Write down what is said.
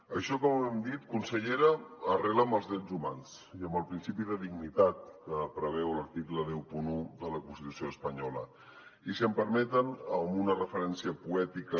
això com hem dit consellera arrela en els drets humans i en el principi de dignitat que preveu l’article cent i un de la constitució espanyola i si m’ho permeten en una referència poètica